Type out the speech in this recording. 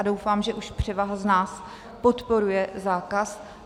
A doufám, že už převaha z nás podporuje zákaz.